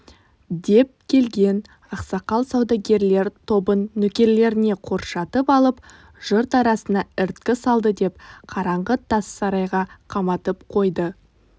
деп келген ақсақал саудагерлер тобын нөкерлеріне қоршатып алып жұрт арасына іріткі саладыдеп қараңғы тас сарайға қаматып қойды